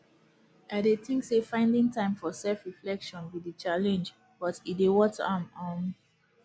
i dey think say finding time for selfreflection be di challenge but e dey worth am um